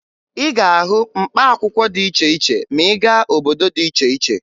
Ị ga-ahụ mkpaakwụkwọ dị iche iche ma ị gaa obodo dị iche iche